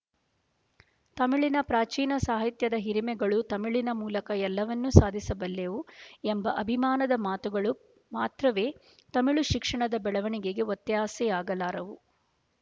ತಮಿಳಿನ ಪ್ರಾಚೀನ ಸಾಹಿತ್ಯದ ಹಿರಿಮೆಗಳು ತಮಿಳಿನ ಮೂಲಕ ಎಲ್ಲವನ್ನೂ ಸಾಧಿಸಬಲ್ಲೆವು ಎಂಬ ಅಭಿಮಾನದ ಮಾತುಗಳು ಮಾತ್ರವೇ ತಮಿಳು ಶಿಕ್ಷಣದ ಬೆಳವಣಿಗೆಗೆ ಒತ್ಯಾಸೆಯಾಗಲಾರವು